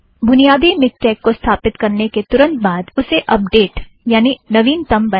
बुनियादी मिक्टेक को स्थापित करने के तुरंत बाद उसे अपडेट यानि नवीनतम बनाएं